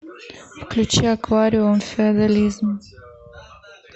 включи аквариум феодализм